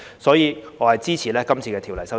所以，我支持《條例草案》。